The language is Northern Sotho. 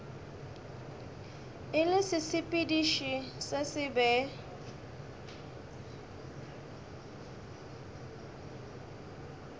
e le sesepediši se sebe